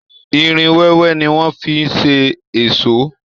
Irin wẹ́wẹ́ ni wọ́n fi ń ṣe èṣó